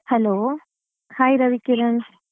Hello hai Ravikiran.